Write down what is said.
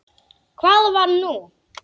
Hvað var nú?